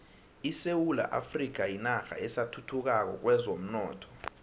isewula afrika yinarha esathuthukako kwezomnotho